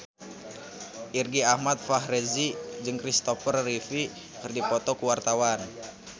Irgi Ahmad Fahrezi jeung Kristopher Reeve keur dipoto ku wartawan